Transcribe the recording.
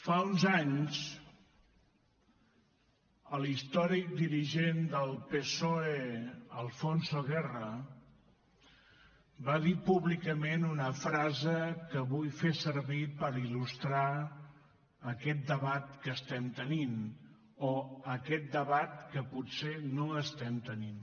fa uns anys l’històric dirigent del psoe alfonso guerra va dir públicament una frase que vull fer servir per il·lustrar aquest debat que estem tenint o aquest debat que potser no estem tenint